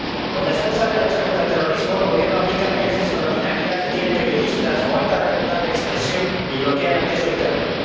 Con la excusa de la lucha contra el terrorismo, el Gobierno aplica medidas extraordinarias, detiene periodistas, coarta la libertad de expresión y bloquea el acceso a internet.